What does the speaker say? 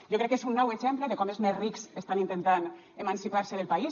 jo crec que és un nou exemple de com els més rics estan intentant emancipar se del país